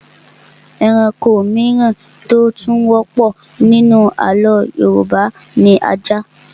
Ẹranko mìíràn tí ó tún wọ́pọ̀ nínú àlọ́ Yorùbá ni ajá